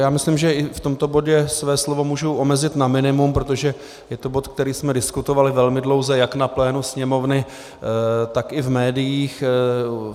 Já myslím, že i v tomto bodě své slovo můžu omezit na minimum, protože je to bod, který jsme diskutovali velmi dlouze jak na plénu Sněmovny, tak i v médiích.